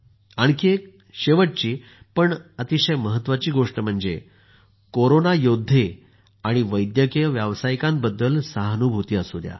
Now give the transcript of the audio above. आणखी एक शेवटची मात्र अत्यंत महत्वाची गोष्ट म्हणजे कोरोना योद्धे आणि वैद्यकीय व्यावासायिकांबद्दल सहानुभूती असू द्या